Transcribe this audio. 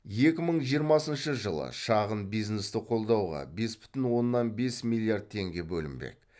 екі мың жиырмасыншы жылы шағын бизнесті қолдауға бес бүтін оннан бес миллиард теңге бөлінбек